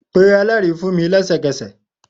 Pe mi ni ẹlẹri lẹsẹkẹsẹ!